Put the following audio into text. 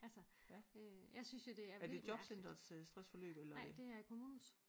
Altså øh jeg synes jo det er vildt mærkeligt nej det er kommunens